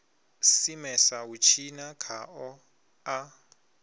simesa u tshina khao a